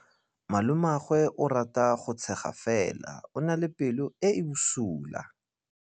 Malomagwe o rata go tshega fela o na le pelo e e bosula.